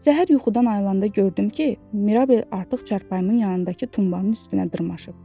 Səhər yuxudan ayırılanda gördüm ki, Mirabel artıq çarpayımın yanındakı tumanın üstünə dırmışıb.